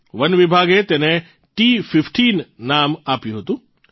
one વિભાગે તેને ટી૧૫ નામ આપ્યું હતું